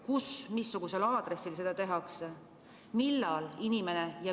Kus, missugusel aadressil vaktsineeritakse?